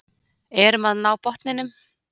Erum að ná botninum